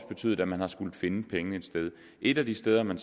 betydet at man har skullet finde pengene et sted et af de steder man